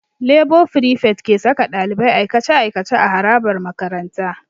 Lebo frifet ke saka ɗalibai aikace-aikace a harabar makaranta.